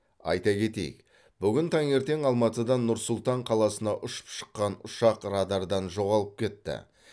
айта кетейік бүгін таңертең алматыдан нұр сұлтан қаласына ұшып шыққан ұшақ радардан жоғалып кетті